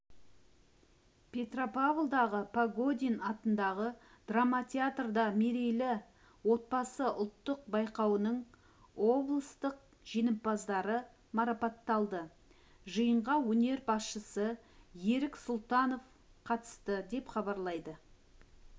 петропавлдағы погодин атындағы драма театрда мерейлі отбасы ұлттық байқауының облыстық жеңімпаздары марапатталды жиынға өңір басшысы ерік сұлтанов қатысты деп хабарлайды